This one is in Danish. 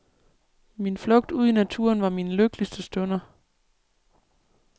Min flugt ud i naturen var mine lykkeligste stunder.